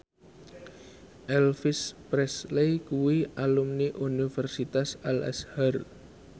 Elvis Presley kuwi alumni Universitas Al Azhar